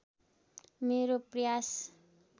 मेरो प्रयास